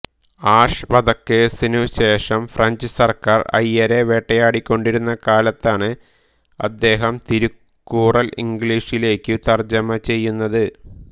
ash വധക്കേസിനുശേഷം French സർക്കാർ അയ്യരെ വേട്ടയാടിക്കൊണ്ടിരുന്ന കാലത്താണ് അദ്ദേഹം തിരുക്കുറൾ ഇംഗ്ലീഷിലേക്കു തർജ്ജമ ചെയ്യുന്നത്